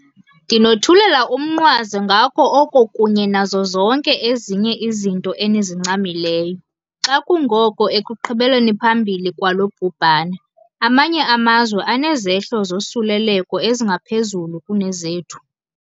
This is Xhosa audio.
Ndinothulela umnqwazi ngako oko kunye nazo zonke ezinye izinto enizincamileyo. Xa kungoko ekuqhubeleni phambili kwalo bhubhane, amanye amazwe anezehlo zosuleleko ezingaphezulu kunezethu.